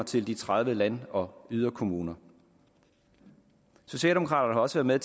til de tredive land og yderkommuner socialdemokraterne